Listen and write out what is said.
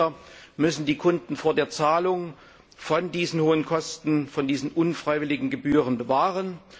Die Anbieter müssen die Kunden vor der Zahlung von diesen hohen Kosten, von diesen unfreiwilligen Gebühren bewahren.